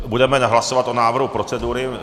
Budeme hlasovat o návrhu procedury.